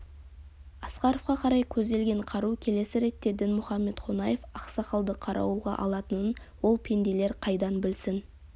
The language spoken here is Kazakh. асқаровқа қарай көзделген қару келесі ретте дінмұхамед қонаев ақсақалды қарауылға алатынын ол пенделер қайдан білсін